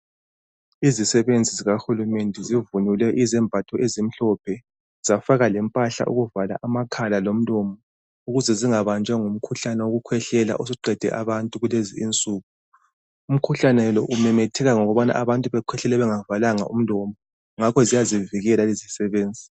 Izisebenzi zikahulumende zivunule izembatho ezimhlophe. Zafaka lempahla yokuvala amakhala lomlomo. Ukuze zingabanjwa ngumkhuhlane wokukhwehlela, osuqede abantu kulezi insuku. Umkhuhlane lo umemetheka ngokubana abantu bakhwehlela bengavalanga umlomo. Ngakho ziyazivikela lezi izisebenzi